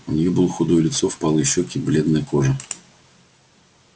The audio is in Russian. у нее было худое лицо впалые щеки бледная кожа